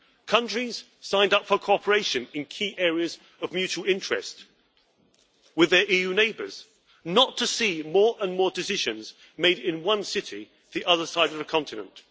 Countries signed up for cooperation in key areas of mutual interest with their EU neighbours, not to see more and more decisions made in one city on the other side of the continent.